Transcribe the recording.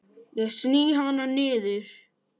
Ég sný hana niður.